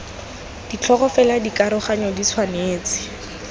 ditlhogo fela dikaroganyo di tshwanetse